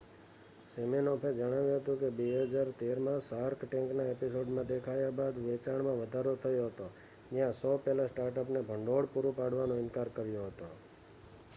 સિમિનોફે જણાવ્યું હતું કે 2013માં શાર્ક ટેન્કના એપિસોડમાં દેખાયા બાદ વેચાણમાં વધારો થયો હતો જ્યાં શો પેનલે સ્ટાર્ટઅપને ભંડોળ પૂરું પાડવાનો ઇનકાર કર્યો હતો